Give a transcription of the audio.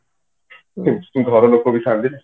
ଘର ଲୋକ ବି ଥାଆନ୍ତି ନା